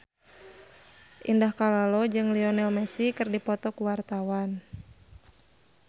Indah Kalalo jeung Lionel Messi keur dipoto ku wartawan